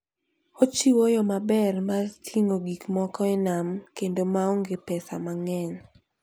Ochiwo yo maber mar ting'o gik moko e nam kendo ma onge pesa mang'eny.